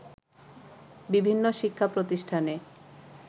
বিভিন্ন শিক্ষাপ্রতিষ্ঠানে